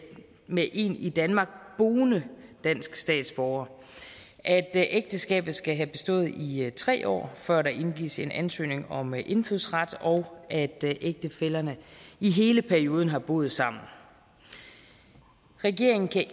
med en i danmark boende dansk statsborger at ægteskabet skal have bestået i i tre år før der indgives en ansøgning om indfødsret og at ægtefællerne i hele perioden har boet sammen regeringen kan